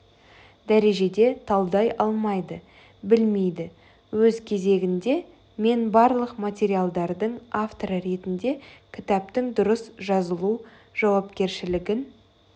дәрежеде талдай алмайды білмейді өз кезегінде мен барлық материалдардың авторы ретінде кітаптың дұрыс жазылу жауапкершілігін